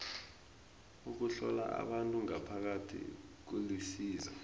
ukuhlola abantu ngaphakathi kulisizo